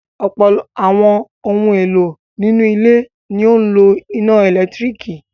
Ọ̀pọ̀ àwọn ohun-èlò nínú ilé ni ó ń lo iná ẹ̀lẹ́tíríkì.